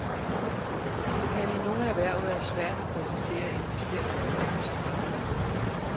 Det kan i nogle erhverv være svært at præcisere en bestemt kommune som arbejdssted.